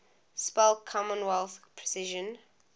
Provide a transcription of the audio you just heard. spell commonwealth precision